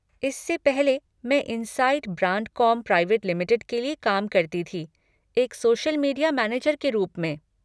इससे पहले, मैं इनसाइट ब्रांडकॉम प्राइवेट लिमिटेड में काम करती थी, एक सोशल मीडिया मैनेजर के रूप में।